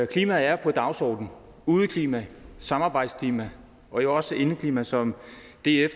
klimaet er på dagsordenen udeklima samarbejdsklima og jo også indeklima som df